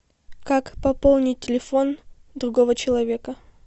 как пополнить телефон другого человека